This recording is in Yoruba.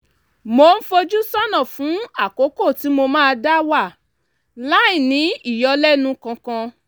mò ń fojú sọ́nà fún àkókò tí mo máa dá wà láìní ìyọlẹ́nu kankan